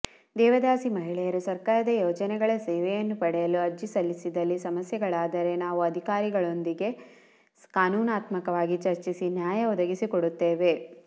ದೇವದಾಸಿ ಮಹಿಳೆಯರು ಸರ್ಕಾರದ ಯೋಜನೆಗಳ ಸೇವೆಯನ್ನು ಪಡೆಯಲು ಅರ್ಜಿ ಸಲ್ಲಿಸಿದಲ್ಲಿ ಸಮಸ್ಯೆಗಳಾದರೆ ನಾವು ಅಧಿಕಾರಿಗಳೊಂದಿಗೆ ಕಾನೂನಾತ್ಮಾಕವಾಗಿ ಚರ್ಚಿಸಿ ನ್ಯಾಯಾ ಒದಗಿಸಿಕೊಡುತ್ತೇವೆ